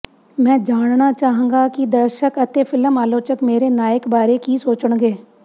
ਮੈਂ ਜਾਣਨਾ ਚਾਹਾਂਗਾ ਕਿ ਦਰਸ਼ਕ ਅਤੇ ਫਿਲਮ ਆਲੋਚਕ ਮੇਰੇ ਨਾਇਕ ਬਾਰੇ ਕੀ ਸੋਚਣਗੇ